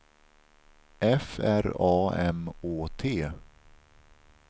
F R A M Å T